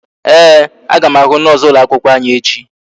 Ee, aga m ahụ noosu ụlọ akwụkwọ anyị echi